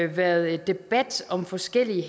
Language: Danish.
været debat om forskellige